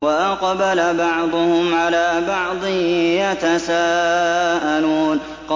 وَأَقْبَلَ بَعْضُهُمْ عَلَىٰ بَعْضٍ يَتَسَاءَلُونَ